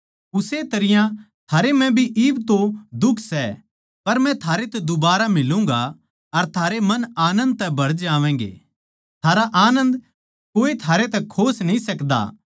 उस्से तरियां थारै म्ह भी इब तो दुख सै पर मै थारै तै दुबारा फेट्टूगाँ अर थारे मन आनन्द तै भर जावैंगे थारा आनन्द कोए थारै तै खोस न्ही सकदा